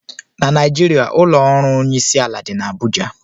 Na Naijiria ụlọ ọrụ onyeisiala dị n'Abụja